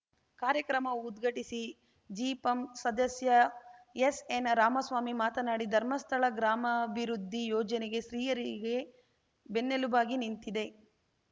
ಕಾರ್ಯಕ್ರಮ ಉದ್ಘಾಟಿಸಿ ಜಿಪಂ ಸದಸ್ಯ ಎಸ್‌ಎನ್‌ರಾಮಸ್ವಾಮಿ ಮಾತನಾಡಿ ಧರ್ಮಸ್ಥಳ ಗ್ರಾಮಾಭಿವೃದ್ಧಿ ಯೋಜನೆಗೆ ಸ್ತ್ರೀಯರಿಗೆ ಬೆನ್ನೆಲುಬಾಗಿ ನಿಂತಿದೆ